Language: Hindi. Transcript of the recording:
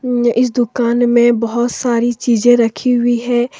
इस दुकान में बहोत सारी चीजें रखी हुई है।